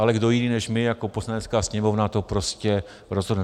Ale kdo jiný než my jako Poslanecká sněmovna to prostě rozhodne?